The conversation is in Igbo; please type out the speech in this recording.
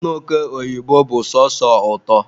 anụ oke oyibo bụ sọsọ ụtọ